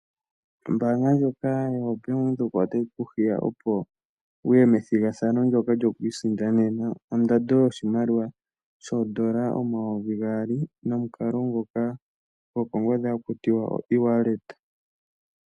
Ombaanga ndjoka yoBank Windhoek otayi ku hiya opo wuye methigathano ndjoka lyokwiisindanena ondando yoshimaliwa shoondola omayovi gaali nomukalo ngoka gokongodhi haku tiwa oE-Walleta.